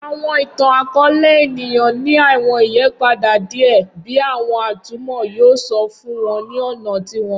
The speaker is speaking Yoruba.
Awọn itan-akọọlẹ eniyan ni awọn iyipada diẹ bi awọn atumọ yoo sọ fun wọn ni ọna tiwọn